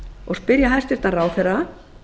og spyrja hæstvirtan ráðherra